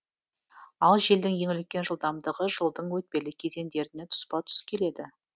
ал желдің ең үлкен жылдамдығы жылдың өтпелі кезеңдеріне тұспа тұс келеді